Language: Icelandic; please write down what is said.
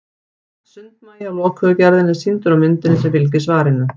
sundmagi af lokuðu gerðinni er sýndur á myndinni sem fylgir svarinu